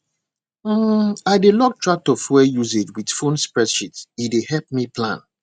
um i dey log tractor fuel usage with phone spreadsheet e dey help me plan